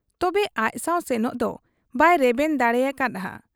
ᱛᱚᱵᱮ ᱟᱡᱥᱟᱶ ᱥᱮᱱᱚᱜ ᱫᱚ ᱵᱟᱭ ᱨᱮᱵᱮᱱ ᱫᱟᱲᱮᱭᱟᱠᱟ ᱦᱟᱫ ᱟ ᱾